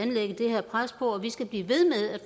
lægge det her pres på og vi skal blive ved med at